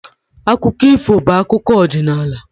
Akụkọ ifo bụ akụkọ ọdịnala